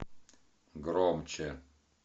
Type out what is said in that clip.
громче